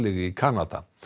í Kanada